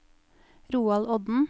Roald Odden